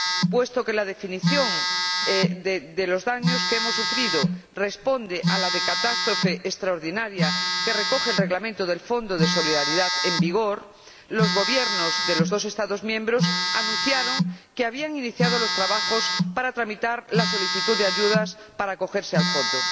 Puesto que la definición de los daños que hemos sufrido responde a la de catástrofe extraordinaria que recoge el Reglamento del Fondo de Solidaridad en vigor, los Gobiernos de los dos Estados miembros anunciaron que habían iniciado los trabajos para tramitar las solicitudes de ayuda para acogerse al Fondo.